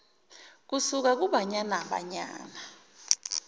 kusuka kubanyana banyana